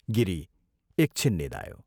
गिरी एक छिन निदायो।